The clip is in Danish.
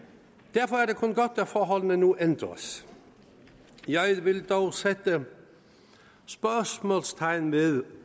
derfor er det kun godt at forholdene nu ændres jeg vil dog sætte spørgsmålstegn ved